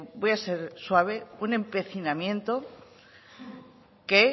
voy a ser suave un empecinamiento que